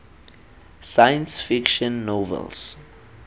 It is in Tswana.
science fiction novels